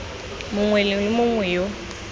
mongwe le mongwe yo o